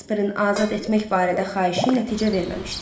Jasprin azad etmək barədə xahişi nəticə verməmişdi.